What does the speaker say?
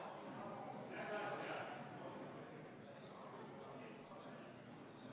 Aga minu küsimus puudutab hoopistükkis seda, et võib-olla sa tuletad kõigile meelde, kas selle otsuse eelnõu kohta muudatusettepanekuid tuli.